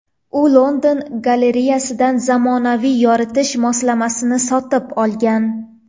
U London galereyasidan zamonaviy yoritish moslamasini sotib olgan.